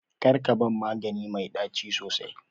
Karka ban magani mai ɗaci sosai.